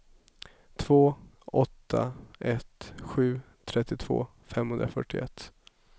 två åtta ett sju trettiotvå femhundrafyrtioett